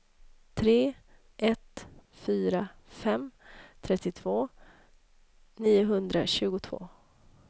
tre ett fyra fem trettiotvå niohundratjugotvå